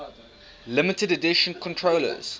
limited edition controllers